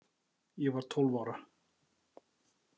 Ég var tólf ára.